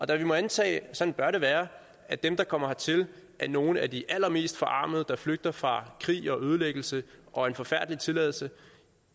da vi må antage og sådan bør det være at dem der kommer hertil er nogle af de allermest forarmede der flygter fra krig og ødelæggelse og en forfærdelig tilværelse